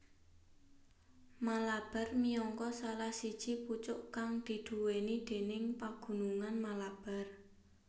Malabar miangka salah siji pucuk kang diduwèni déning Pagunungan Malabar